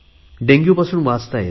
डेंग्यूपासून बचाव करता येतो